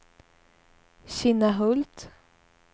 Kinnahult